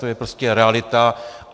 To je prostě realita.